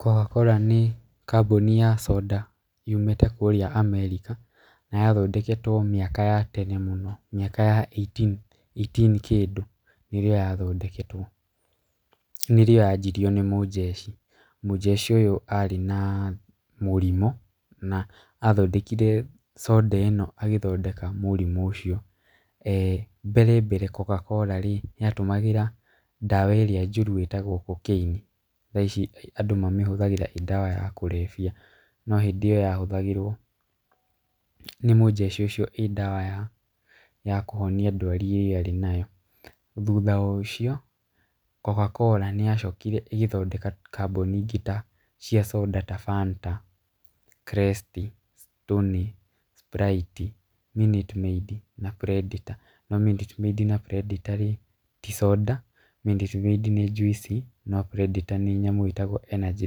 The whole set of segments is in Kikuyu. Coca-cola nĩ kambuni ya soda yumĩte kũrĩa America, na yathondeketwo mĩaka ya tene mũno mĩaka ya ĩitini kĩndũ, nĩrĩo yathondeketwo. Nĩrĩo yanjirio nĩ mũjeshi. Mũjeshi ũyũ arĩ na mũrimũ athondekire soda ĩno agĩthondeka mũrimũ ũcio. Mbere mbere Coca-cola rĩ, yatũmagĩra ndawa ĩrĩa njũru ĩtagwo cocaine, thaa ici andũ mamĩhũthagĩra ĩĩ ndawa ya kũrebia. No hĩndĩ ĩyo yahũthagĩrwo nĩ mũjeshi ũcio ĩĩ ndawa ya kũhonia ndwari ĩrĩa arĩ nayo. Thutha wo ũcio coca-cola nĩyacokire ĩgĩthondeka kambuni ingĩ cia soda ta Fanta, Krest, Stoney, Sprite , Minute maid na Predator. No Minute Maid na Predator-rĩ ti soda, Minute Maid nĩ njuici na predator nĩ nyamũ ĩtagwo energy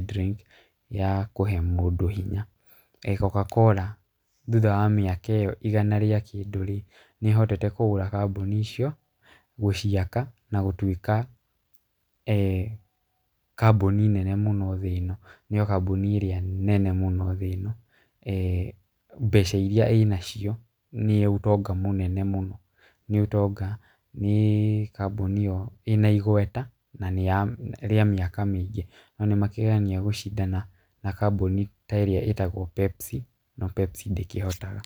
drink ya kũhe mũndũ hinya. Coca-cola thutha ya mĩaka ĩyo igana rĩa kĩndũ-rĩ nĩĩhotete kugũra kambuni icio, gũciaka na gũtuĩka kambuni nene mũno thĩĩ ĩno. Nĩo kambuni ĩrĩa nene mũno thĩĩ ĩno. Mbeca iria ĩnacio nĩ ũtonga mũnene mũno. Nĩ ũtonga nĩ kambuni yo ĩna igweta rĩa mĩaka mĩingĩ. No nĩmakĩgeragia a gũcindana na kambuni ta ĩrĩa ĩtagwo Pepsi, no Pepsi ndĩkĩhotaga.